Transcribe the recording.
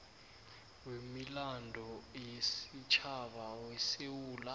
wemilando yesitjhaba wesewula